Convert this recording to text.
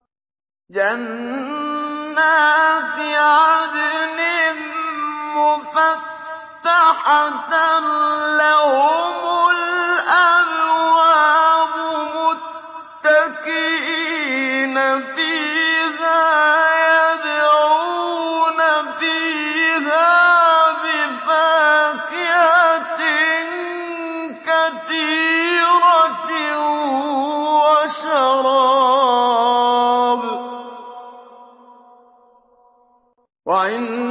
مُتَّكِئِينَ فِيهَا يَدْعُونَ فِيهَا بِفَاكِهَةٍ كَثِيرَةٍ وَشَرَابٍ